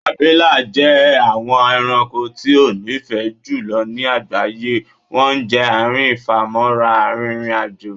Abila jẹ awọn ẹranko ti o nifẹ julọ ni agbaye wọn jẹ aarin ifamọra aririn ajo